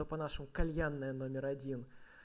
то по-нашему кальянная номер один